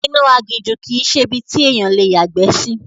Inú aginjù kìí ṣe ibi tí ènìyàn le yàgbẹ́ sí